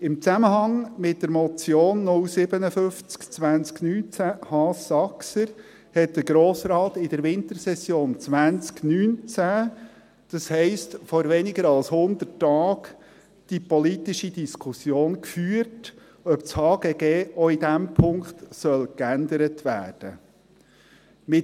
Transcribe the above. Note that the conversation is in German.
Im Zusammenhang mit der Motion 057-2019, Haas/Saxer, hat der Grosse Rat in der letzten Wintersession 2019, das heisst, vor weniger als 100 Tagen, die politische Diskussion geführt, ob das HGG auch in diesem Punkt geändert werden soll.